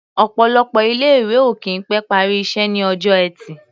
Ọ̀pọ̀lọpọ̀ ilé-ìwé ò kì í pẹ́ parí iṣẹ́ ní ọjọ́ Ẹtì.